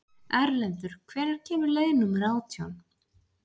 Erlendur, hvenær kemur leið númer nítján?